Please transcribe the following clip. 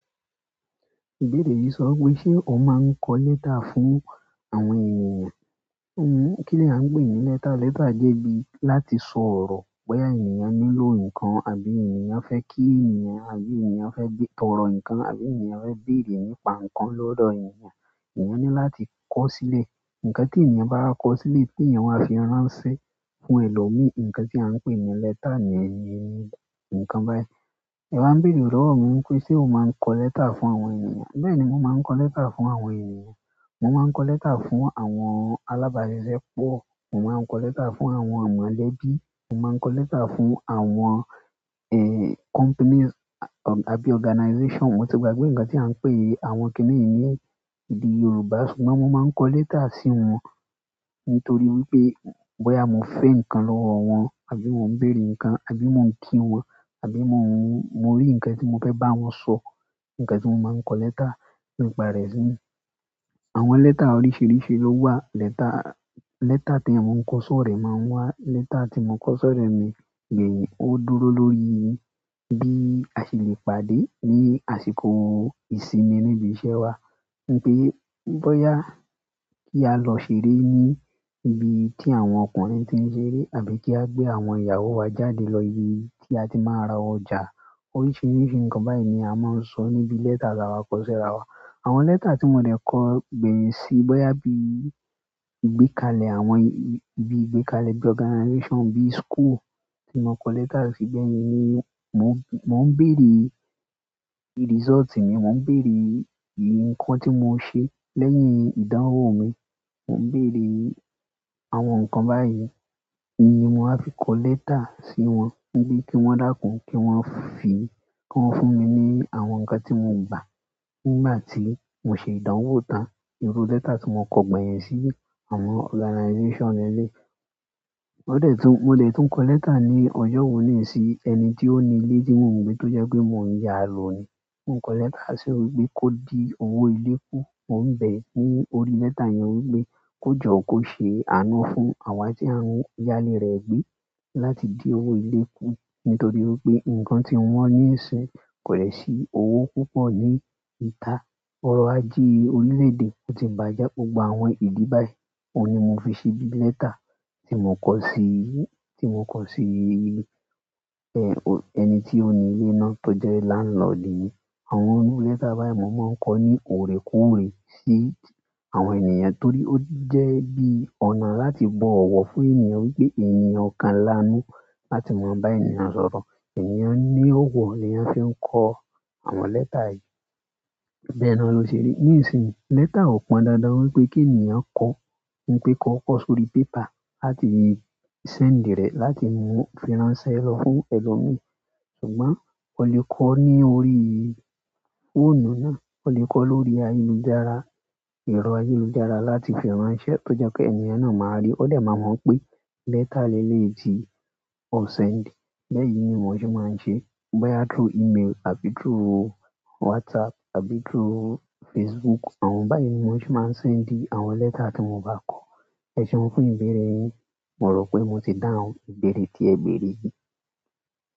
Ibere yìí sọ wi pé ṣe o máa ń kọ lẹ́tà fún àwọn ènìyàn? Ooh, kí là ń pè é ní lẹ́tà? Lẹ́tà jẹ́ bí láti sọ ọ̀rọ̀ bóyá ènìyàn nílò nǹkan àbí ènìyàn fẹ́ kí ènìyàn àbí ènìyàn fẹ́ bé, tọrọ nǹkan àbí ènìyàn fẹ́ béèrè nípa nǹkan lọ́dọ̀ ènìyàn. Oun ni láti kọ si le. Nǹkan tí ènìyàn bá wa kọ sílẹ̀ pé ènìyàn wà á fi ránṣẹ́ fún ẹlòmíì. Nǹkan tí à ń pè ní lẹ́tà ni yẹn ni, nǹkan báyìí. Ẹ̀ wá ń béèrè lọ́wọ́ mi wípé ṣe o máa ń kọ lẹ́tà fún àwọn ènìyàn? Bẹ́ẹ̀ni, mo máa ń kọ lẹ́tà fún àwọn ènìyàn. Mo máa ń kọ lẹ́tà fún àwọn alábàájẹ́ pọ̀. Mo máa ń kọ lẹ́tà fún àwọn amọ̀lẹ́bí. Mo máa ń kọ lẹ́tà fún àwọn, eeh, companies àbí organizations. Mo ti gbàgbé nǹkan tí à ń pè é, àwọn kíni yìí ní, èdè Yorùbá ṣùgbọ́n mo máa ń kọ lẹ́tà sí wọn. Nítorí wípé bóyá mo fẹ́ nǹkan lọ́wọ́ wọn àbí mo ń béèrè nǹkan àbí mo ń kí wọn àbí mo ń, mo rí nǹkan tí mo fẹ́ bá wọn sọ. Nǹkan tí mo máa ń kọ lẹ́tà nípa rẹ̀ síi. Àwọn lẹ́tà oríṣìíríṣìí ló wà. Lẹ́tà, lẹ́tà tí àwọn ń kọ sọ́ọ̀ rẹ̀ máa ń wà. Lẹ́tà tí mo kọ sọ́ọ̀ rẹ̀ mi gbéyìn ó dúró lórí bí a ṣe lè pàdé ní àsìkò ìsinmi níbi iṣẹ́ wa. Ní pé bóyá kí a lọ ṣeré ní ibi tí àwọn ọkùnrin tí ń ṣe eré àbí kí á gbé àwọn ìyàwó wa jáde lọ ibi tí a ti máa ń ra ọjà. Oríṣìíríṣìí nǹkan báyìí ni a máa ń sọ níbi lẹ́tà tí a bá kọ sí ara wa. Àwọn lẹ́tà tí mò de kọ gbẹ̀yìn síi, bóyá bí ìgbékalẹ̀ àwọn, bí ìgbékalẹ̀ bí organization bí school tí mo kọ lẹ́tà síi bẹ́ẹ̀ yín ni mó ń, mó ń béèrè result mi, mò ń béèrè nǹkan tí mo ṣe lẹ́yìn ìdánwò mi. Mò ń béèrè àwọn nǹkan báyìí ní mo á fi kọ lẹ́tà sí wọn ní bí kí wọ́n dàkún, kí wọ́n fi, kí wọ́n fún mi ní àwọn nǹkan tí mò ń gbà nígbà tí mo ṣe ìdánwò tán. Iru lẹ́tà tí mo kọ gbẹ̀yìn sí àwọn organizations ni eléyìí. Mo dè tún, mo dè tún kọ lẹ́tà ní ọjọ́ wo ní sí ẹni tí ó ní ilé tí mò n gbe tó jẹ́ pé mò ń yá lóò ni. Ti mo n kọ lẹ́tà si pe ko din owo ile ku mo n bẹ ki o ri lẹ́tà yẹn, ko jọ ko se àánú fún awa ti a n ya. Ile e gbe láti din owo ile ku. Nítorí pé nǹkan tí wọ́n ní ìsin kò dẹ̀ sí owó púpọ̀ ní ìta. Ọ̀rọ̀ ajé orílẹ̀ èdè ó ti bàjẹ́. Gbogbo àwọn ìdí báyìí. Ó ni mò fi ṣe bí lẹ́tà tí mò ń kọ sí, tí mò ń kọ sí, ẹ, ẹni tí ó ní ilé náà tó jẹ́ láńlọ̀dí mi. Àwọn inú lẹ́tà báyìí mò máa ń kọ ní orekoore sí àwọn ènìyàn torí ó jẹ́ bí ọ̀nà láti bọ̀wọ̀ fún ènìyàn wípé ènìyàn kan lanú láti máa bá ènìyàn sọ̀rọ̀. Ẹ̀yàn ní ọ̀wọ̀ ni a fi ń kọ àwọn lẹ́tà yìí. Bẹẹna lo ti ri, ni isin lẹ́tà o pon dan dan ki ènìyàn kọ si orí paper láti send re láti ránṣẹ́ lọ fún ẹlomi ṣùgbọ́n o lè kọ ní orí fóònù náà. O le kọ ni orí aye lujara ẹrọ aye lujara, láti fi ran se to je pe ènìyàn náà maa ri. Ó dè máa mọ̀ pé lẹ́tà lélè tí o sèǹdì. Baa yí ni mo ṣe máa ń ṣe. Bóyá through email àbí through WhatsApp àbí through Facebook, àwọn báyìí ni mo ṣe máa ń sèǹdì àwọn lẹ́tà tí mo bá kọ. Ẹ ṣeun fún ìbẹ̀rẹ̀ yìí. Mọ̀ rò pé mo ti dáhùn ìbẹ̀rẹ̀ tí ẹ bẹ̀rẹ̀ yìí.